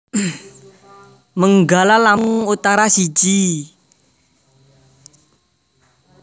Menggala Lampung Utara siji